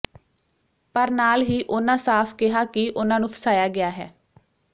ਪਰ ਨਾਲ ਹੀ ਉਨ੍ਹਾਂ ਸਾਫ਼ ਕਿਹਾ ਕਿ ਉਨ੍ਹਾਂ ਨੂੰ ਫਸਾਇਆ ਗਿਆ ਹੈ